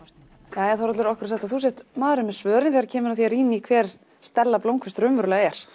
það jæja Þórhallur okkur er sagt að þú sért maðurinn með svörin þegar kemur að því að rýna í hver Stella blómkvist raunverulega er